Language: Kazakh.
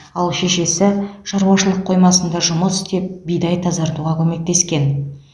ал шешесі шаруашылық қоймасында жұмыс істеп бидай тазартуға көмектескен